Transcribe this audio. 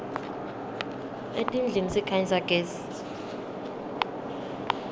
etindlini sikhanyisa gezi